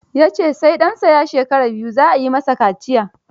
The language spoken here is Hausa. Ya ce sai ɗansa ya shekara biyu, za a yi masa kaciya.